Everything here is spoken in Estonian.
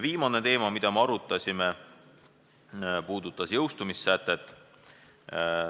Viimane teema puudutas jõustumissätet.